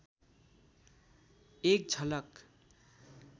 एक झलक